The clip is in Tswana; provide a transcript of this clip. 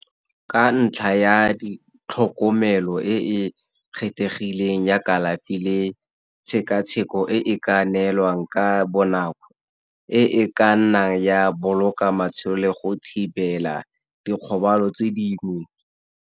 Ka ntlha ya ditlhokomelo e e kgethegileng ya kalafi le tshekatsheko e ka neelwang ka bonako, e ka nnang ya boloka matshelo le go thibela dikgobalo tse dingwe.